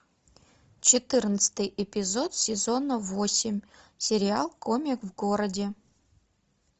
четырнадцатый эпизод сезона восемь сериал комик в городе